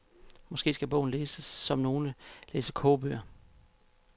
Måske skal bogen læses som nogle læser kogebøger.